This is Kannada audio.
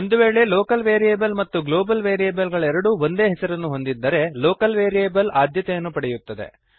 ಒಂದು ವೇಳೆ ಲೋಕಲ್ ವೇರಿಯಬಲ್ ಮತ್ತು ಗ್ಲೋಬಲ್ ವೇರಿಯಬಲ್ ಗಳೆರಡೂ ಒಂದೇ ಹೆಸರನ್ನು ಹೊಂದಿದ್ದರೆ ಲೋಕಲ್ ವೇರಿಯಬಲ್ ಆದ್ಯತೆಯನ್ನು ಪಡೆಯುತ್ತದೆ